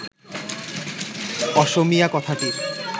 অসমীয়া কথাটির